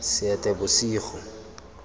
seetebosego